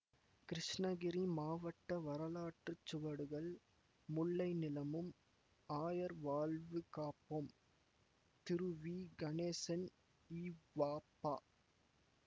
கிருஷ்ணகிரி மாவட்ட வரலாற்று சுவடுகள் முல்லை நிலமும் ஆயர் வாழ்வு காப்போம் திருவிகணேசன் இவப